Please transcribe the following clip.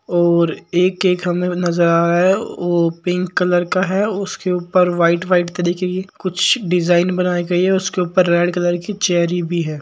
और एक केक हमे नज़र आ रहा है ओ पिंक कलर का है उसके ऊपर व्हाइट व्हाइट का देखिये ये कुछ डिजाईन बनाई गयी है उसके ऊपर रेड कलर की चेरी भी है।